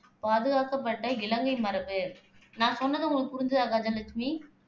பாதுகாக்கப்பட்ட இலங்கை மரபு. நான் சொன்னது உங்களுக்கு புரிஞ்சுதா கஜலட்சுமி